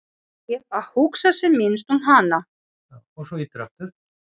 Hann reyndi því að hugsa sem minnst um hana.